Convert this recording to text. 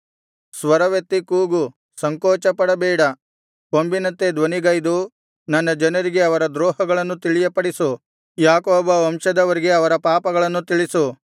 ಸ್ವರವೆತ್ತಿ ಕೂಗು ಸಂಕೋಚಪಡಬೇಡ ಕೊಂಬಿನಂತೆ ಧ್ವನಿಗೈದು ನನ್ನ ಜನರಿಗೆ ಅವರ ದ್ರೋಹಗಳನ್ನು ತಿಳಿಯಪಡಿಸು ಯಾಕೋಬ ವಂಶದವರಿಗೆ ಅವರ ಪಾಪಗಳನ್ನು ತಿಳಿಸು